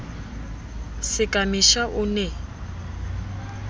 se ka mesha o ne